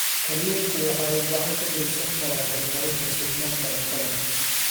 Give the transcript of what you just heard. Kalluunku waxa uu gacan ka geysan karaa horumarinta sugnaanta cuntada.